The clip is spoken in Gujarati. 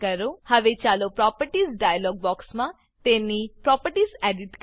હવે ચાલો પ્રોપર્ટીઝ પ્રોપર્ટીઝ ડાયલોગ બોક્સમાં તેની પ્રોપર્ટીને એડીટ કરીએ